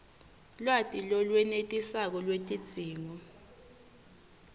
lwati lolwenetisako lwetidzingo